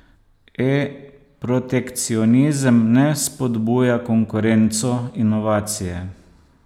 E, protekcionizem ne spodbuja konkurenco, inovacije...